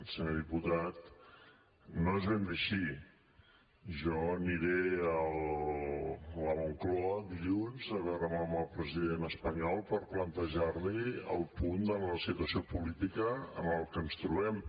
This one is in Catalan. senyor diputat no és ben bé així jo aniré a la moncloa dilluns a veure’m amb el president espanyol per plantejar li el punt de la situació política en què ens trobem